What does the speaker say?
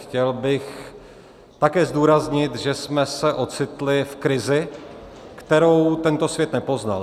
Chtěl bych také zdůraznit, že jsme se ocitli v krizi, kterou tento svět nepoznal.